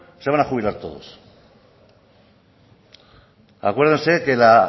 se van a jubilar todos acuérdense que la